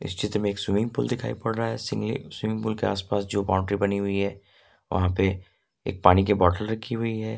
इस चित्र में एक स्विमिंग पूल दिखाई पड़ रहा है स्विमिंग पूल के आसपास जो बाउंड्री बनी हुई है वहां पे एक पानी के बॉटल रखी हुई है।